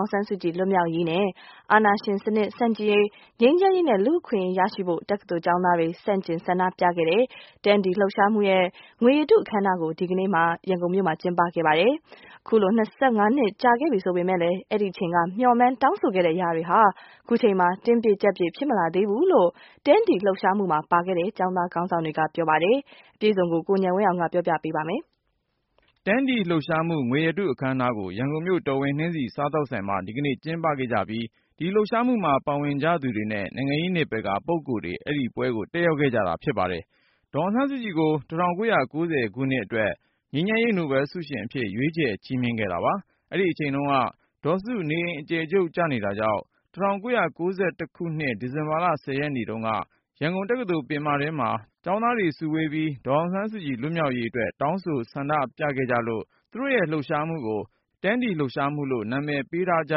င်ဆန်းစုကြည် လွတ်မြောက်ရေးနဲ့ အာဏာ ရှင်စနစ် ဆန့်ကျင်ရေး၊ ငြိမ်းချမ်းရေးနဲ့ လူ့အခွင့်အရေး ရရှိဖို့ တက္ကသိုလ်ကျောင်း သားတွေ ဆန့်ကျင်ဆန္ဒပြခဲ့တဲ့ 10 D လှုပ်ရှားမှု- ငွေရတုအခမ်းအနားကို ဒီကနေ့ ရန်ကုန်မြို့မှာ ကျင်းပခဲ့ကြပါတယ်။ အခုလို ၂၅ နှစ်ကြာလာပြီဖြစ်ပေမယ့် အဲဒီ အချိန်က မျှော်မှန်း တောင်းဆိုခဲ့တဲ့ အရာတွေဟာ ခုချိန်မှာ တင်းပြည့်ကျပ်ပြည့် ဖြစ် မလာသေးဘူး လို့ 10 D လှုပ်ရှားမှုမှာပါခဲ့တဲ့ ကျောင်းသားခေါင်းဆောင်တွေ က ပြောပါတယ်။ ကိုဉာဏ်ဝင်းအောင်ကဆက်ပြီး တင်ပြပါမယ်။ 10 D လှုပ်ရှားမှု ငွေရတုအခမ်းအနားကို ရန်ကုန်မြို့ တော်ဝင်နှင်းဆီ စားသောက် ဆိုင်မှာ ဒီကနေ့ ကျင်းပခဲ့ကြပြီး အဲဒီလှုပ်ရှားမှုမှာပါဝင်သူတွေ နဲ့ နိုင်ငံရေးနယ်ပယ် က ပုဂ္ဂိုလ်တွေတက်ရောက်ခဲ့ကြပါတယ်။ ဒေါ်အောင်ဆန်းစုကြည်ကို၁၉၉၀ ခုနှစ်အတွက် ငြိမ်းချမ်းရေးနိုဘယ်လ် ဆုရှင် အဖြစ် ရွေးချယ်ချီးမြှင့်ခဲ့တာပါ။ အဲဒီအချိန်တုန်းက ဒေါ်စု နေအိမ် အကျယ်ချုပ်ကျနေ တာကြောင့် ၁၉၉၁ ခုနှစ် ဒီဇင်ဘာလ ၁၀ ရက်နေ့တုန်းက ရန်ကုန်တက္ကသိုလ် ပင်မ ထဲမှာ ကျောင်းသားတွေ စုဝေး ပြီး ဒေါ်အောင်ဆန်းစုကြည် လွတ်မြောက်ရေး အတွက် တောင်းဆိုဆန္ဒပြခဲ့ကြလို့ သူတို့ရဲ့လှုပ်ရှားမှုကို 10 D လှုပ်ရှားမှုလို့ နာမည်ပေးထားကြ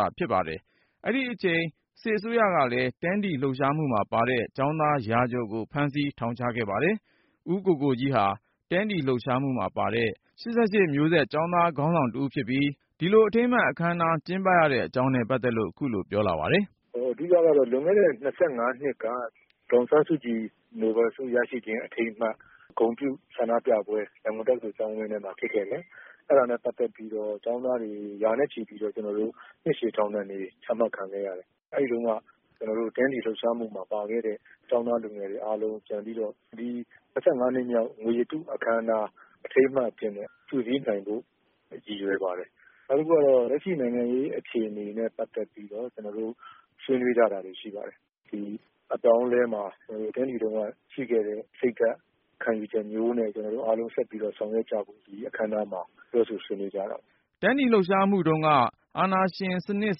တာ ဖြစ်ပါတယ်။ အဲဒီအချိန် စစ်အစိုးရကလည်း 10 D လှုပ်ရှားမှုမှာပါတဲ့ ကျောင်းသားရာကျော်ကို ဖမ်းဆီးထောင်ချခဲ့ပါတယ်။ ဦးကိုကိုကြီး ဟာ 10 D လှုပ်ရှားမှုမှာပါတဲ့ ၈၈ မျိုးဆက်ကျောင်းသားခေါင်းဆောင်တဦးဖြစ်ပြီး ဒီလို အထိမ်းအမှတ်အခမ်းအနား ကျင်းပရတဲ့အကြောင်းနဲ့ ပတ်သက်လို့ ခုလိုပြော လာပါတယ်။ “ အဓိကကတော့ လွန်ခဲ့တဲ့ ၂၅နှစ်က ဒေါ်အောင်ဆန်းစုကြည် နိုဘယ်လ်ဆုရရှိခြင်း အထိမ်းအမှတ် ဂုဏ်ပြုဆန္ဒပြပွဲ ရန်ကုန်တက္ကသိုလ် ကျောင်းဝင်းထဲမှာ ဖြစ်ခဲ့တယ်၊ အဲဒါနဲ့ ပတ်သက်ပြီးတော့ ကျောင်းသားတွေ ရာနဲ့ချီပြီးတော့ နှစ်ရှည်ထောင်ဒဏ်တွေ ချမှတ်ခံခဲ့ရတယ်။ အဲဒီတုန်းက ကျနော်တို့ 10 D လှုပ်ရှားမှုမှာပါခဲ့တဲ့ ကျောင်းသား လူငယ်တွေ အားလုံး ပြန်ပြီးတော့ ဒီ၂၅နှစ်မြောက် ငွေရတုအခမ်းအနား အထိမ်း အမှတ် အဖြစ်နဲ့ စုစည်းနိုင်ဖို့ ရည်ရွယ်ပါတယ်။ နောက်တခုက လက်ရှိနိုင်ငံရေး အခြေအနေနဲ့ ပတ်သက်ပြီးတော့ ကျနော်တို့ ဆွေးနွေး ကြတာတွေ ရှိပါတယ်။ ဒီအပြောင်းအလဲမှာ 10 D တုန်းကရှိခဲ့တဲ့ စိတ်ဓါတ် ခံယူချက်မျိုးနဲ့ ကျနော်တို့အားလုံး ဆက်ပြီးတော့ ဆောင်ရွက်ကြဖို့ ဒီအခမ်းအနားမှာ ပြောဆိုဆွေးနွေးကြတာပါ ” 10 D လှုပ်ရှားမှုတုန်းက အာဏာရှင်စနစ်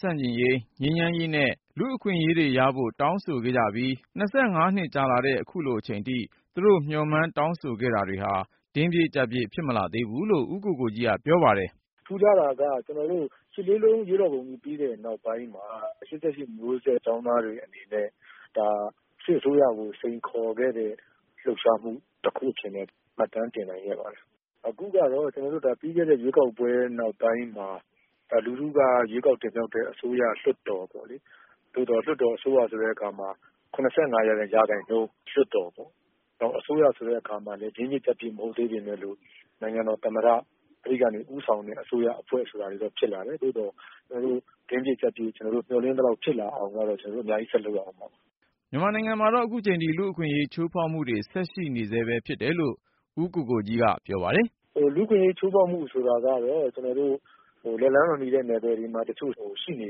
ဆန့်ကျင်ရေး၊ ငြိမ်းချမ်းရေးနဲ့ လူ့အခွင့် အရေးတွေရဖို့ တောင်းဆိုခဲ့ကြပြီး ၂၅ နှစ်ကြာလာတဲ့ အခုချိန် အထိ သူတို့ မျှော် မှန်းတောင်းဆိုခဲ့တာတွေ တင်းပြည့်ကျပ်ပြည့် ဖြစ်မလာသေးဘူးလို့ ဦးကိုကိုကြီး က ပြောပါတယ်။ “ ထူးခြားတာက ၈၈၈၈ အရေးတော်ပုံကြီး ပြီးတဲ့နောက်ပိုင်းမှာ ၈၈ မျိုးဆက်ကျောင်း သားတွေ အနေနဲ့ ဒါ.. စစ်အစိုးရကို စိန်ခေါ်ခဲ့တဲ့ လှုပ်ရှားမှု တခုအဖြစ်နဲ့ မှတ်တမ်း တင်နိုင်ခဲ့ပါတယ်။ အခုကတော့ ပြီးခဲ့တဲ့ရွေးကောက်ပွဲ နောက်ပိုင်းမှာ လူထုကရွေးေ ကာက်တင်မြှောက်တဲ့ အစိုးရ၊ လွှတ်တော်ပေါ့လေ.. သို့သော် လွှတ်တော် အစိုးရ ဆိုတဲ့အခါမှာ ၇၅% လွှတ်တော်ပေါ့၊ နောက် အစိုးရဆိုတဲ့အခါမှာလည်း တင်းပြည့် ကျပ်ပြည့် မဟုတ်သေးပေမယ့်လို့ နိုင်ငံတော်သမ္မတ အဲဒီကနေ ဦးဆောင်တဲ့ အစိုးရ အဖွဲ့ဆိုတာတွေတော့ ဖြစ်လာတယ်။ သို့သော် တင်းပြည့် ကျပ်ပြည့် ကျနော်တို့ မျှော် လင့်ထားသလောက် ဖြစ်လာအောင်ကတော့ ကျနော်တို့ အများကြီး ဆက်လုပ်ရ ဦးမှာပါ ” မြန်မာနိုင်ငံမှာတော့ အခုချိန်ထိတော့ လူ့အခွင့်အရေး ချိုးဖေါက်မှုတွေ ဆက်ရှိနေဆဲ ပဲလို့ ဦးကိုကိုကြီးက ပြောပါတယ်။ “ လူ့အခွင့်အရေး ချိုးဖေါက်မှုဆိုတာကတော့ ကျနော်တို့ လက်လှမ်းမမှီတဲ့ နယ်ပယ်ေ တွမှာ ရှိနေ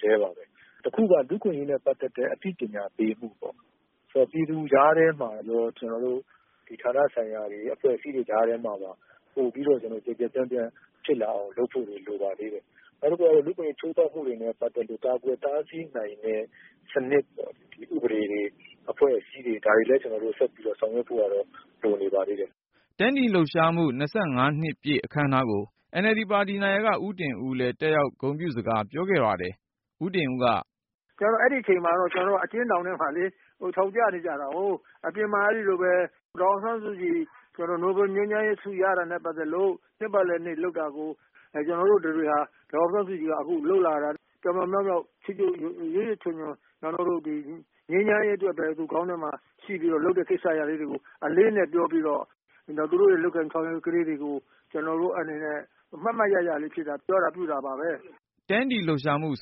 ဆဲပါပဲ၊ တခုက လူ့အခွင့်အရေးနဲ့ ပတ်သက်တဲ့ အသိပညာပေးမှုပေါ့.. ဆိုတော့ ပြည်သူကြားထဲမှာရော ဒီဌာနဆိုင်ရာတွေ အဖွဲ့အစည်းတွေ ကြားထဲမှာပါ ပိုပြီးတော့ ကျယ်ကျယ်ပြန့်ပြန့်တွေ ဖြစ်လာအောင် လုပ်ဖို့တွေ လိုပါသေးတယ်။ ေ နာက်တခုက လူ့အခွင့်အရေး ချိုးဖေါက်မှုနဲ့ ပတ်သက်လို့ ကာကွယ် တားဆီးနိုင်တဲ့ စနစ်ပေါ့၊ ဥပဒေတွေ အဖွဲ့အစည်းတွေ ဒါတွေလည်း ကျနော်တို့ ဆက်ပြီးဆောင်ရွက် ဖို့ကတော့ လိုနေပါသေးတယ်” 10 D လှုပ်ရှားမှု ၂၅နှစ်ပြည့် အခမ်အနားကို NLD ပါတီ နာယက ဦးတင်ဦးလည်း တက်ရောက် ဂုဏ်ပြုစကားပြောခဲ့ပါတယ်။ ဦးတင်ဦးက - “ အဲဒီအချိန်တုန်းက ကျနော်တို့ အကျဉ်းထောင်ထဲမှာလေ ထောင်ကျနေကြတာကိုး။ အပြင်မှာ အဲဒီလိုပဲ ဒေါ်အောင်ဆန်းစုကြည် နိုဘယ်လ် ငြိမ်းချမ်းရေးဆု ရတာနဲ့ ပတ်သက်လို့ နှစ်ပတ်လည်နေ့ လုပ်တာကို ကျနော်တို့တတွေဟာ ဒေါ်အောင်ဆန်း စုကြည်က အခုလုပ်လာတာ ပြောင်ပြောင်မြောက်မြောက် ရွတ်ရွတ်ချွံချွံ ငြိမ်းချမ်းရေး အတွက်ပဲ သူ့ခေါင်းထဲမှာ ရှိပြီးလုပ်တဲ့ကိစ္စရပ်တွေ အလေးအနက် ပြောပြီးတော့ သူတို့ရဲ့လုပ်ကိုင် ဆောင်ရွက်မှုလေးတွေကို ကျနော် အမှတ်တရ ပြောခဲ့တာပါပဲ ” 10 D လှုပ်ရှားမှုကို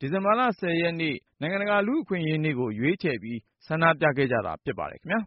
ဒီဇင်ဘာလ ၁၀ ရက် နိုင်ငံတကာ လူ့အခွင့်အရေးနေ့ကို ရွေး ချယ်ပြီး ဆန္ဒပြခဲ့ကြတာ ဖြစ်ပါတယ်ခင်ဗျာ